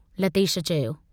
लतेश चयो।